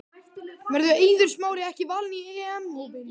Verður Eiður Smári ekki valinn í EM hópinn?